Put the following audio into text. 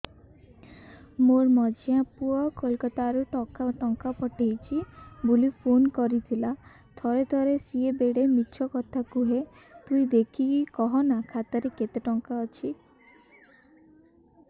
ମୋର ମଝିଆ ପୁଅ କୋଲକତା ରୁ ଟଙ୍କା ପଠେଇଚି ବୁଲି ଫୁନ କରିଥିଲା ଥରେ ଥରେ ସିଏ ବେଡେ ମିଛ କଥା କୁହେ ତୁଇ ଦେଖିକି କହନା ଖାତାରେ କେତ ଟଙ୍କା ଅଛି